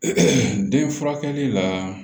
den furakɛli la